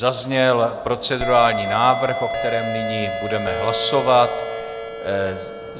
Zazněl procedurální návrh, o kterém nyní budeme hlasovat.